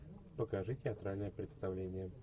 покажи театральное представление